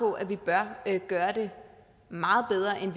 på at man bør gøre det meget bedre end